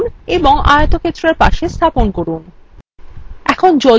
এটি আঁকুন এবং আয়তক্ষেত্রের পাশে স্থাপন করুন